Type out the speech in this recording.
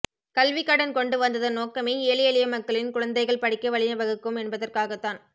கல்விக்கடன் கொண்டு வந்ததன் நோக்கமே ஏழை எளிய மக்களின் குழந்தைகள் படிக்க வழி வகுக்கும் என்பதற்காகத்தான்